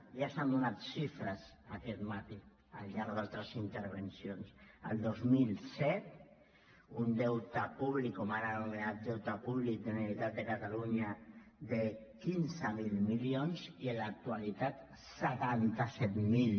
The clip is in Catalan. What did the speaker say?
ja s’han donat xifres aquest matí al llarg d’altres intervencions el dos mil set un deute públic o mal anomenat deute públic de la generalitat de catalunya de quinze mil milions i en l’actualitat setanta set mil